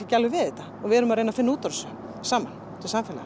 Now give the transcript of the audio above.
ekki alveg við þetta við erum að reyna að finna út úr þessu saman sem samfélag